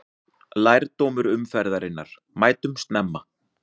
Lærdómur umferðarinnar: Mætum snemma!